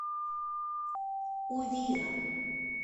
увира